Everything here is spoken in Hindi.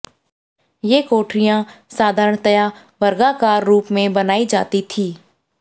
ये कोठरियां साधारणतया वर्गाकार रूप में बनाई जाती थीं